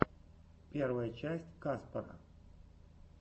первая часть каспара